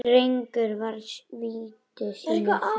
Drengur var viti sínu fjær.